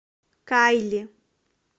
кайли